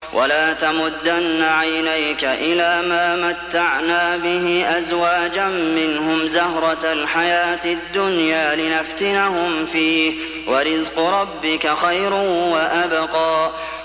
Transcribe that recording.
وَلَا تَمُدَّنَّ عَيْنَيْكَ إِلَىٰ مَا مَتَّعْنَا بِهِ أَزْوَاجًا مِّنْهُمْ زَهْرَةَ الْحَيَاةِ الدُّنْيَا لِنَفْتِنَهُمْ فِيهِ ۚ وَرِزْقُ رَبِّكَ خَيْرٌ وَأَبْقَىٰ